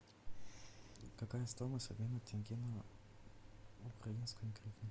какая стоимость обмена тенге на украинскую гривну